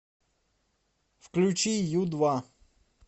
включи ю два